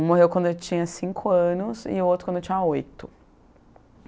Um morreu quando eu tinha cinco anos e o outro quando eu tinha oito.